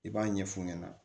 I b'a ɲɛ fu ɲɛna